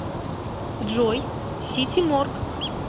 джой сити морг